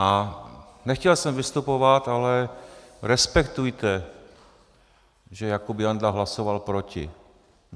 A nechtěl jsem vystupovat, ale respektujte, že Jakub Janda hlasoval proti.